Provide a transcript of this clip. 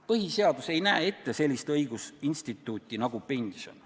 Põhiseadus ei näe ette sellist õigusinstituuti nagu pension.